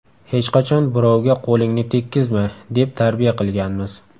Hech qachon birovga qo‘lingni tekkizma, deb tarbiya qilganmiz.